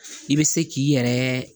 I bɛ se k'i yɛrɛ